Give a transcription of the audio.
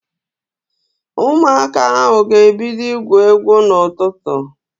Ụmụaka ahụ ga-ebido igwu egwu n'ụtụtụ